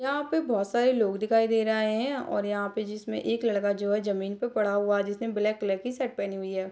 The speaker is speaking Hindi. यहाँ पे बहुत सारे लोग दिखाई दे रहे हैं और यहाँ पे जिसमें एक लड़का जो है जमीन पर पड़ा हुआ है जिसने ब्लैक कलर की शर्ट पहनी हुई है।